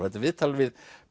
þetta er viðtal við